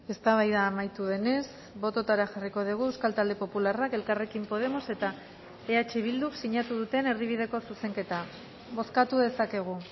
eztabaida amaitu denez bototara jarriko dugu euskal talde popularrak elkarrekin podemos eta eh bilduk sinatu duten erdibideko zuzenketa bozkatu dezakegu